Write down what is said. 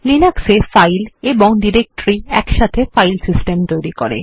Linux এ file এবং directory একসাথে ফাইল সিস্টেম তৈরি করে